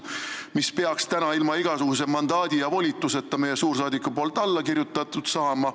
Sellele peaks täna meie suursaadik ilma igasuguse mandaadi ja volituseta alla kirjutama.